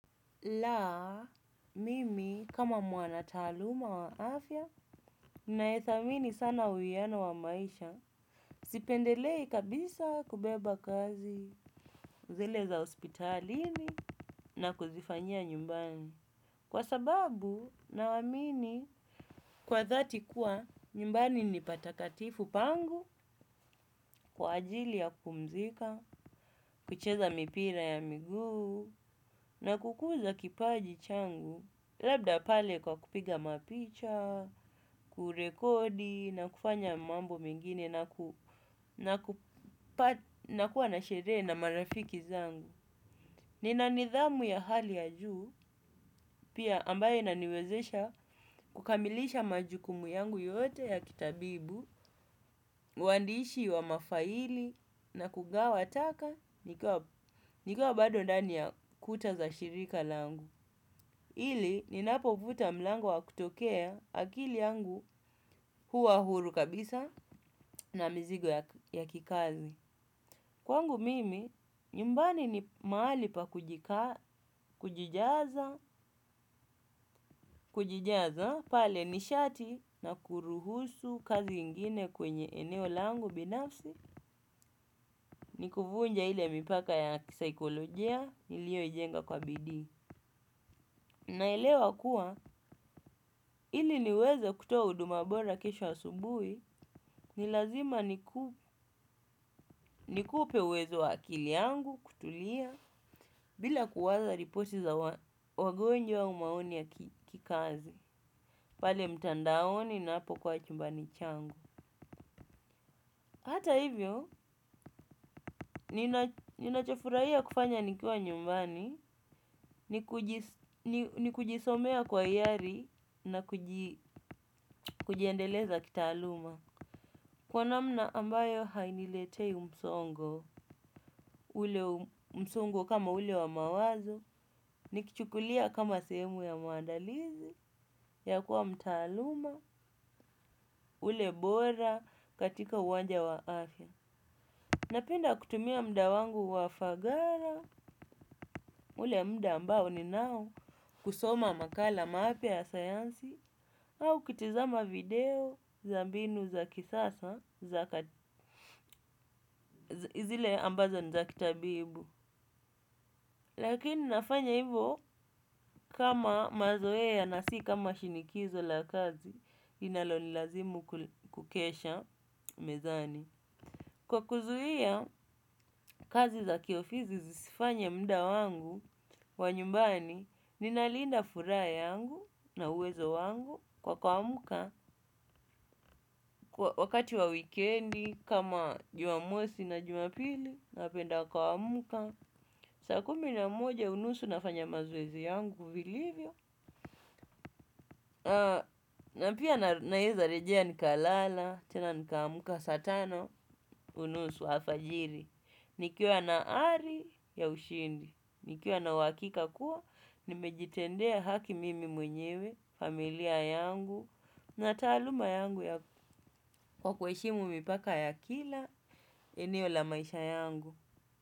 Laa, mimi kama mwana taaluma wa afya, ninaethamini sana huwiano wa maisha. Sipendelei kabisa kubeba kazi. Zile za hospitalini na kuzifanyia nyumbani. Kwa sababu nawamini, kwa dhati kuwa nyumbani ni patakatifu pangu kwa ajili ya kupumzika. Kucheza mipira ya miguu na kukuza kipaji changu. Labda pale kwa kupiga mapicha, kurekodi na kufanya mambo mengine na kuwa na sherehe na marafiki zangu. Nina nidhamu ya hali ya juu pia ambaye inaniwezesha kukamilisha majukumu yangu yote ya kitabibu, uandishi wa mafaili na kugawa taka nikiwa bado ndani ya kuta za shirika langu. Ili ninapovuta mlango wa kutokea akili yangu huwa huru kabisa na mizigo ya kikazi. Kwangu mimi, nyumbani ni mahali pa kujijaza pale nishati na kuruhusu kazi ingine kwenye eneo langu binafsi kuvunja ile mipaka ya kisaikolojia uliyoijenga kwa bidii. Naelewa kuwa ili niweze kutoa huduma bora kesho asubuhi ni lazima nikupe uwezo wa akili yangu kutulia bila kuwaza ripoti za wagonjwa au maoni ya kikazi pale mtandaoni na hapo kwa chumbani changu. Hata hivyo, ninachofurahia kufanya nikiwa nyumbani ni kujisomea kwa hiari na kujiendeleza kitaaluma. Kwa namna ambayo hainiletei msongo, ule msongo kama ule wa mawazo, nikichukulia kama sehemu ya muandalizi, ya kuwa mtaaluma, ule bora katika uwanja wa afya. Napenda kutumia muda wangu wa fagara, ule mda ambao ninao kusoma makala mapya ya sayansi, au kutizama video za mbinu za kisasa, izile ambazo ni za kitabibu. Lakini nafanya hivyo kama mazoea na si kama shinikizo la kazi inalonilazimu kukesha mezani. Kwa kuzuia kazi za kiofisi sizifanye muda wangu wa nyumbani ninalinda furaha yangu na uwezo wangu kwa kuamka. Wakati wa wikendi kama jumamosi na jumapili napenda kuamka. Saa kumi na moja, unusu nafanya mazoezi yangu, vilivyo. Na pia naezarejea nikalala, tena nikaamka saa tano, unusu, alfajiri. Nikiwa na ari ya ushindi nikiwa na uhakika kuwa, nimejitendea haki mimi mwenyewe, familia yangu, na taaluma yangu ya kwa kuheshimu mipaka ya kila, eneo la maisha yangu.